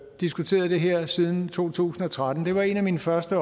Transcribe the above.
diskuteret det her siden to tusind og tretten det var en af mine første